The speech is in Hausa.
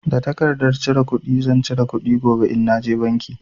Da tarkardar cire kuɗi zan cire kuɗi gobe in na je banki.